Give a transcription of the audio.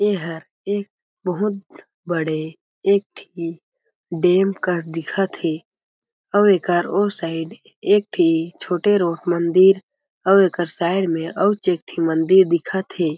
ये हर एक बहुत बड़े एक ठी डेम कस दिखत हे अउ एकर ओ साइड एक ठी छोटे रो मंदिर आऊ एकर साइड म आउच एक ठी मंदिर दिखत हे।